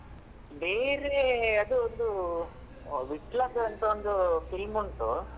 ಬೇರೆ ಅದು ಒಂದು ವಿಟ್ಲದ್ದುಅಂತ ಒಂದು film ಉಂಟು